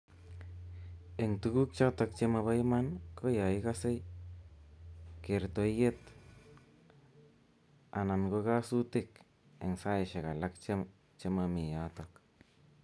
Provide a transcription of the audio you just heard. Eng tuku chutok che mobo iman ko ya ikasei , kertoiet ana ko kasutik eng saishek alak che mami yatok.